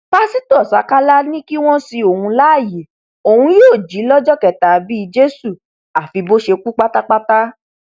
pásítọ ṣákálá ni kí wọn sin òun láàyè òun yóò jí lọjọ kẹta bíi jésù àfi bó ṣe kú pátápátá